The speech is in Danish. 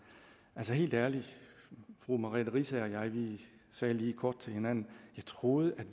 altså helt ærligt fru merete riisager og jeg sagde lige kort til hinanden at vi troede man